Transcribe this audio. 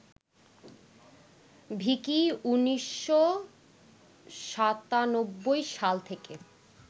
ভিকি ১৯৯৭ সাল থেকে